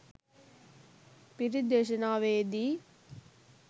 පිරිත් දේශනාවේදි